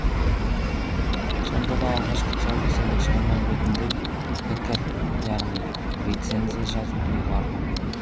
сонда да алғашқы тұсаукесерлік шығармам ретінде пікір яғни рецензия жазуды ұйғардым